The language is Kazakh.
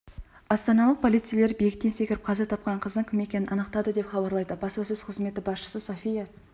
астаналық полицейлер биіктен секіріп қаза тапқан қыздың кім екенін анықтады деп хабарлайды баспасөз қызметі басшысы софья